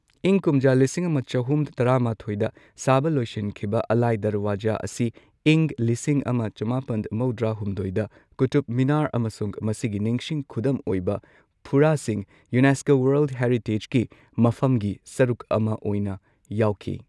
ꯏꯪ ꯀꯨꯝꯖꯥ ꯂꯤꯁꯤꯡ ꯑꯃ ꯆꯍꯨꯝ ꯇꯔꯥꯃꯥꯊꯣꯏꯗ ꯁꯥꯕ ꯂꯣꯏꯁꯤꯟꯈꯤꯕ ꯑꯂꯥꯏ ꯗꯔꯋꯥꯖꯥ ꯑꯁꯤ ꯏꯪ ꯂꯤꯁꯤꯡ ꯑꯃ ꯆꯃꯥꯄꯟ ꯃꯧꯗ꯭ꯔꯥ ꯍꯨꯝꯗꯣꯏꯗ ꯀꯨꯇꯨꯕ ꯃꯤꯅꯥꯔ ꯑꯃꯁꯨꯡ ꯃꯁꯤꯒꯤ ꯅꯤꯡꯁꯤꯡ ꯈꯨꯗꯝ ꯑꯣꯏꯕ ꯐꯨꯔꯥꯁꯤꯡ ꯌꯨꯅꯦꯁꯀꯣ ꯋꯥꯔꯜꯗ ꯍꯦꯔꯤꯇꯦꯖꯀꯤ ꯃꯐꯝꯒꯤ ꯁꯔꯨꯛ ꯑꯃ ꯑꯣꯏꯅ ꯌꯥꯎꯈꯤ꯫